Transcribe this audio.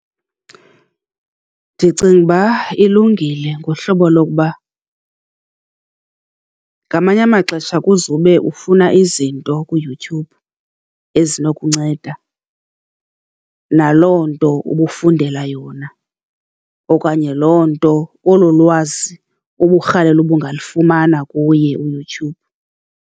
Ndicinga uba ilungile ngohlobo lokuba ngamanye amaxesha kuzawube ufuna izinto kuYouTube ezinokunceda naloo nto ubufundela yona, okanye loo nto, olo lwazi uburhalela uba ungalufumana kuye uYouTube.